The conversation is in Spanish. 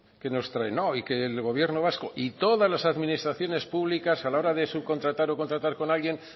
que nos traen y que el gobierno vasco y todas las administraciones públicas a la hora de subcontratar o contratar con alguien